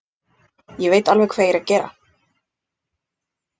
Ég veit alveg hvað ég er að gera.